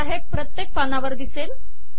आता हे प्रत्येक पानावर येईल